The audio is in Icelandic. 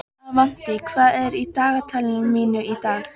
Avantí, hvað er í dagatalinu mínu í dag?